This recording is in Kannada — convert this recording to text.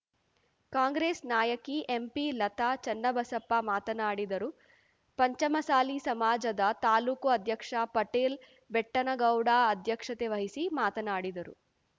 ಕಾಂಗ್ರೆಸ್‌ ನಾಯಕಿ ಎಂಪಿ ಲತಾ ಚೆನ್ನಬಸಪ್ಪ ಮಾತನಾಡಿದರು ಪಂಚಮಸಾಲಿ ಸಮಾಜದ ತಾಲೂಕು ಅಧ್ಯಕ್ಷ ಪಟೇಲ್‌ ಬೆಟ್ಟನಗೌಡ ಅಧ್ಯಕ್ಷತೆ ವಹಿಸಿ ಮಾತನಾಡಿದರು